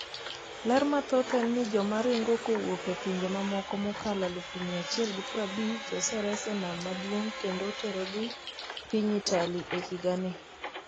ler mathoth en ni Jomoringo kowuok e pinje mamoko mokalo 150,000 oseres e nam maduong’ kendo oterogi piny Italy e higa ni